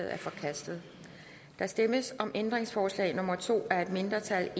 er forkastet der stemmes om ændringsforslag nummer to af et mindretal